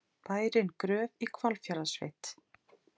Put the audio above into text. Bærinn Gröf í Hvalfjarðarsveit.